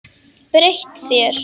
Breytt þér.